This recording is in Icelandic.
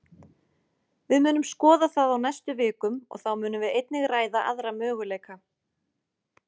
Við munum skoða það á næstu vikum, og þá munum við einnig ræða aðra möguleika.